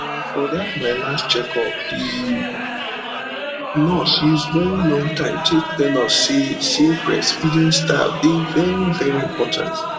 ehn for that my last checkup the nurse use very long time take tell us say say breastfeeding style dey very very important